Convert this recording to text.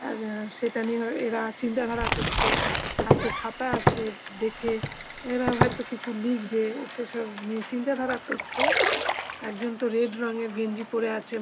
আ সেটা নিয়ে আ এরা চিন্তাধারা করছে। হাতে খাতা আছে। দেখে এরা হয়তো কিছু লিখবে সেসব নিয়ে চিন্তাধারা করছে। একজন তো রেড রঙের গেঞ্জি পরে আছে।